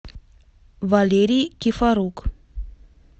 валерий кифорук